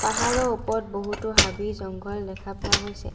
পাহাৰৰ ওপৰত বহুতো হাবি-জংগল দেখা পোৱা গৈছে।